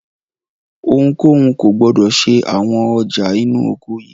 Ohunkóhun kò gbọdọ̀ ṣe àwọn ọjà inú ọkọ̀ yìí!